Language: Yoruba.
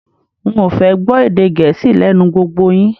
N ò fẹ́ gbọ́ èdè gẹẹsi lé̩nu gbogbo yin